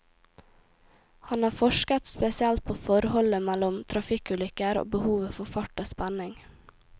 Han har forsket spesielt på forholdet mellom trafikkulykker og behovet for fart og spenning.